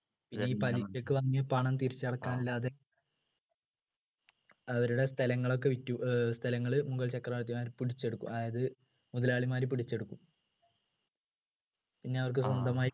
ഈ പലിശക്ക് വാങ്ങിയ പണം തിരിച്ചടക്കാൻ ഇല്ലാതെ അവരുടെ സ്ഥലങ്ങളൊക്കെ വിറ്റു ഏർ സ്ഥലങ്ങള് മുഗൾ ചക്രവർത്തിമാര് പിടിച്ചെടുക്കും അതായത് മുതലാളിമാർ പിടിച്ചെടുക്കും പിന്നെ അവർക്ക് സ്വന്തമായി